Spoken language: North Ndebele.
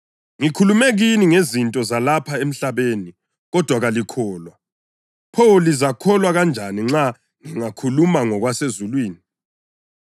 Ngikhulume kini ngezinto zalapha emhlabeni, kodwa kalikholwa; pho lizakholwa kanjani nxa ngingakhuluma ngokwasezulwini?